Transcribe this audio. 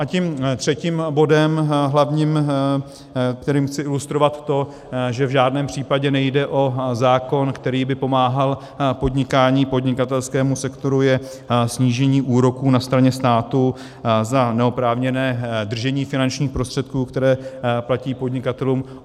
A tím třetím bodem, hlavním, kterým chci ilustrovat to, že v žádném případě nejde o zákon, který by pomáhal podnikání, podnikatelskému sektoru, je snížení úroků na straně státu za neoprávněné držení finančních prostředků, které platí podnikatelům.